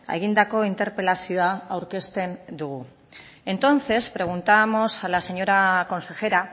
egindako interpelazioa aurkezten dugu entonces preguntábamos a la señora consejera